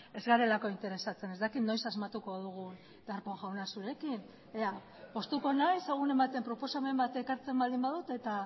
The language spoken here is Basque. ez garelako interesatzen ez dakit noiz asmatuko dugun darpón jauna zurekin poztuko naiz egunen baten proposamen bat ekartzen baldin badut eta